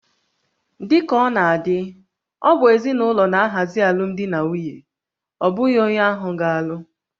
Dị ka ọ na-adị, ọ bụ ezinụlọ na-ahazi alụmdi na nwunye, ọ bụghị onye ahụ ga-alụ